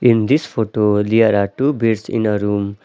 In this photo there are two beds in a room.